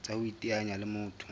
tsa ho iteanya le motho